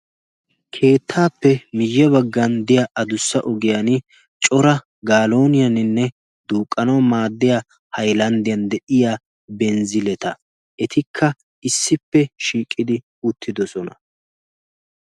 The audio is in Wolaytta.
Keettaappe miye baggan diya adussa ogiyan cora galooniyaaninneduuqqanauwu maaddiya hayllanddiyan de7iya benzziletta etikka issippe shiiqidi uttidosona.